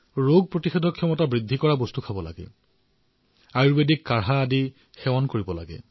ৰোগ প্ৰতিৰোধক ক্ষমতা বৃদ্ধি কৰা বস্তু আয়ুৰ্বেদিক ভেষজ পানীয় গ্ৰহণ কৰক